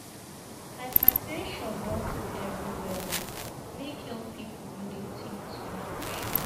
Hyper ten sion don full everywhere o, make young pipu no dey tink too much.